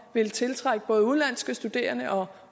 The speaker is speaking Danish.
ville tiltrække både udenlandske studerende og